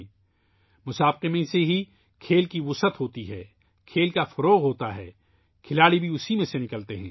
یہ مقابلہ کے ذریعے ہوتا ہے کہ کھیل کا فروغ ہوتا ہے ، کھیلوں کی ترقی ہوتی ہے ، کھلاڑی بھی اس سے نکلتے ہیں